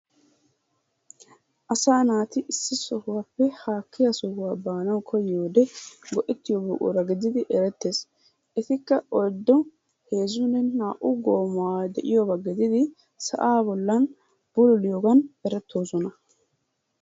Asaa naati issi sohuwappe haakkiya sohuwa baanawu koyiyode go'ettiyo buqura gididi erettees. Etikka oyddu heezzunne naa"u goomaay de'iyoba gididi sa'aa bollan bululiyogan erettoosona.